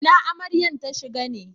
Ina Amaryan ta shiga ne?